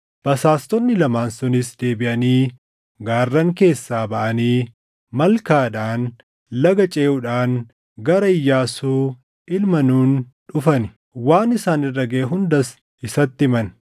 Basaastonni lamaan sunis deebiʼanii gaarran keessaa baʼanii malkaadhaan laga ceʼuudhaan gara Iyyaasuu ilma Nuuni dhufan; waan isaan irra gaʼe hundas isatti himan.